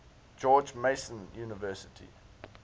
george mason university